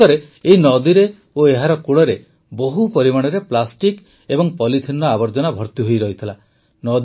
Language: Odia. ପ୍ରକୃତରେ ଏହି ନଦୀରେ ଓ ଏହାର କୂଳରେ ବହୁ ପରିମାଣରେ ପ୍ଲାଷ୍ଟିକ୍ ଓ ପଲିଥିନର ଆବର୍ଜନା ଭର୍ତିହୋଇ ରହିଥିଲା